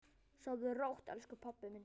Sofðu rótt, elsku pabbi minn.